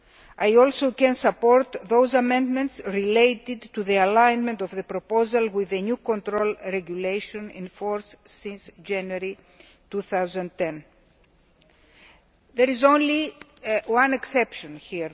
I can also support those amendments related to the alignment of the proposal with the new control regulation, in force since January 2010. There is only one exception, however.